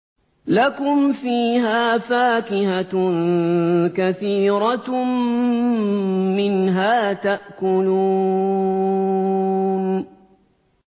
لَكُمْ فِيهَا فَاكِهَةٌ كَثِيرَةٌ مِّنْهَا تَأْكُلُونَ